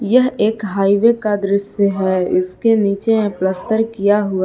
यह एक हाइवे का दृश्य है इसके नीचे में प्लास्टर किया हुआ--